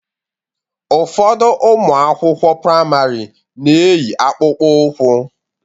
Ụfọdụ ụmụ akwụkwọ praịmarị na-eyi akpụkpọ ụkwụ